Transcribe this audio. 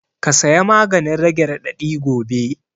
Ka saya maganin rage raɗaɗi gobe